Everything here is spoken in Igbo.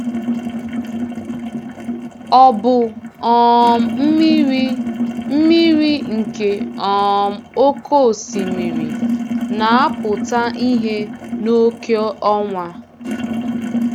Ọ̀ bụ um mmiri mmiri nke um oke osimiri na-apụta ìhè n’oké ọnwa?